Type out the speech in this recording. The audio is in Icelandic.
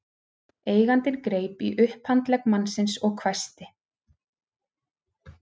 Eigandinn greip í upphandlegg mannsins og hvæsti